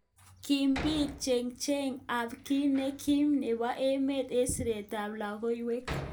Kibit chenget ab ki nekim nebo emet eng siret ab lokoiwek.